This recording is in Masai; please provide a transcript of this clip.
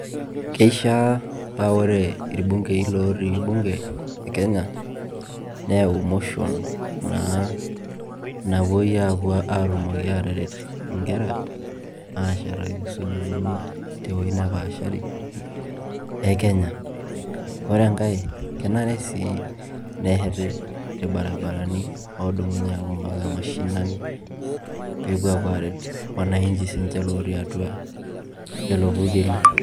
Keishaa paa ore ilbungei lootii bunge e Kenya neewu motion naa napuoi apuo atumoki ateret inkera eshetaki sukuuulini te wuoi nepaashari e Kenya ore e ngai kenare sii nesheti ilbarabarani oodumunye apuo impaka mashinani pee epuo apuo aret sininje wananchi lootii atua lelo purrkeli